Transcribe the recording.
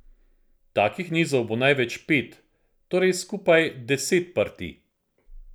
Takih nizov bo največ pet, torej skupaj deset partij.